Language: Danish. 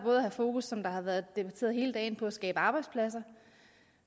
at have fokus som det har været debatteret hele dagen på at skabe arbejdspladser og